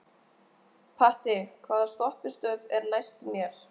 Patti, hvaða stoppistöð er næst mér?